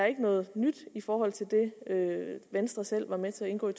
ikke noget nyt i forhold til det venstre selv var med til at indgå i